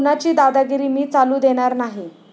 कुणाची दादागिरी मी चालू देणार नाही.